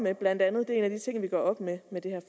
er blandt andet en af de ting som vi gør op med med det her